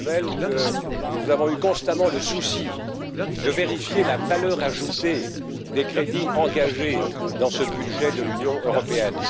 Kölmel que nous avons eu constamment le souci de vérifier la valeur ajoutée des crédits engagés dans ce budget de l'Union européenne.